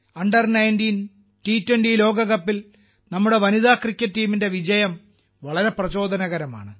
under 19 ടി20 ലോകകപ്പിൽ നമ്മുടെ വനിതാ ക്രിക്കറ്റ് ടീമിന്റെ വിജയം വളരെ പ്രചോദനകരമാണ്